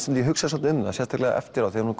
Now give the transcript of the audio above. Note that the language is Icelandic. en ég hugsaði svolítið um það sérstaklega eftir á þegar hún